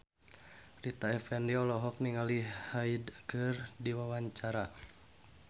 Rita Effendy olohok ningali Hyde keur diwawancara